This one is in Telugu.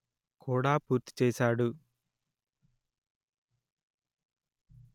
కూడా పూర్తి చేశాడు